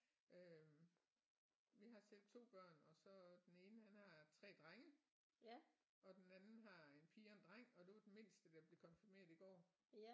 Øh vi har selv 2 børn og så den ene han har 3 drenge og den anden har en pige og en dreng og det var den mindste der blev konfirmeret i går så